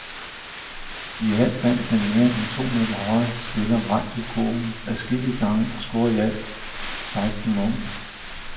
I alt fandt den mere end to meter høje spiller vej til kurven adskillige gange og scorede i alt seksten point.